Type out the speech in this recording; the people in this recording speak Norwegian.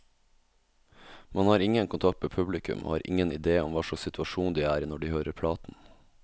Man har ingen kontakt med publikum, og har ingen idé om hva slags situasjon de er i når de hører platen.